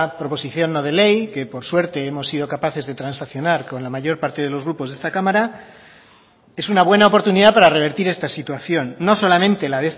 proposición no de ley que por suerte hemos sido capaces de transaccionar con la mayor parte de los grupos de esta cámara es una buena oportunidad para revertir esta situación no solamente la